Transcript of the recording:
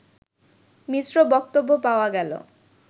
মিশ্র বক্তব্য পাওয়া গেল